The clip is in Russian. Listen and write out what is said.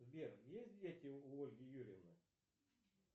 сбер есть дети у ольги юрьевны